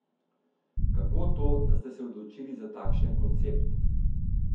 Kako to, da ste se odločili za takšen koncept?